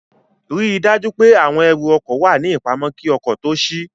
Ríi dájú pé àwọn ẹrù ọkọ̀ wà ní ìpamọ́ kí ọkọ̀ tó ṣí